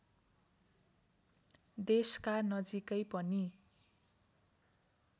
देशका नजिकै पनि